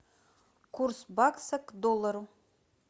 курс бакса к доллару